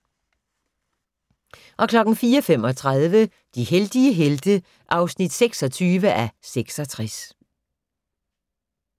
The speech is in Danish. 04:35: De heldige helte (26:66)